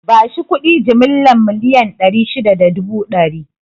Bashi kuɗi jimilla miliyan ɗari shida da dubu ɗari